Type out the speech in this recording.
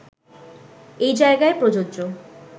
এই জায়গায় প্রযোজ্য